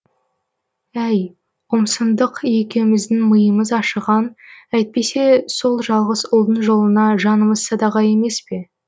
әй ұмсындық екеуіміздің миымыз ашыған әйтпесе сол жалғыз ұлдың жолына жанымыз садаға емес пе